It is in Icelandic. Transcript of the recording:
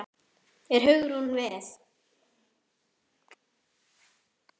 Er Hugrún við?